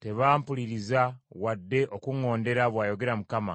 tebampuliriza wadde okuŋŋondera, bw’ayogera Mukama .